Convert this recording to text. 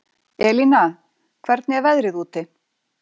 Elína, hvernig er veðrið úti?